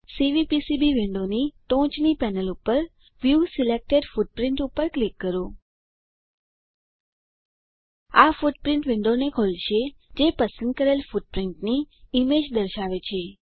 CVPCB વિન્ડોની ટોચ panel પર વ્યૂ સિલેક્ટેડ ફુટપ્રિન્ટ પર ક્લિક કરો આ ફૂટપ્રીંટ વિન્ડોને ખોલશે જે પસંદ કરેલ ફૂટપ્રીંટની ઈમેજ દર્શાવે છે